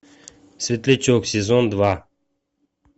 светлячок сезон два